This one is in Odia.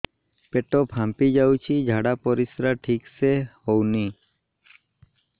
ପେଟ ଫାମ୍ପି ଯାଉଛି ଝାଡ଼ା ପରିସ୍ରା ଠିକ ସେ ହଉନି